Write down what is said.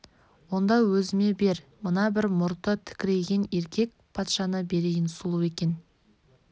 онда өзіме бер мына бір мұрты тікірейген еркек патшаны берейін сұлу екен